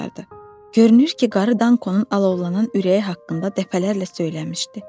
Görünür ki, qarı Dankonun alovlanan ürəyi haqqında dəfələrlə söyləmişdi.